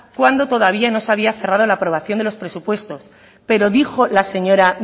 cuando todavía no se había cerrado la aprobación de los presupuestos pero dijo la señora